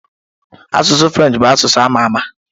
Asụsụ Frenchị bụ asụsụ a ma ama.